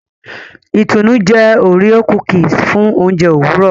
Itunu jé Oreo cookies fún oúnjẹ Òwúrọ